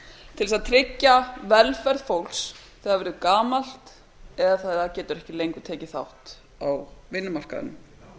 til að tryggja velferð fólks þegar það verður gamalt eða þegar það getur ekki lengur tekið þátt í vinnumarkaðnum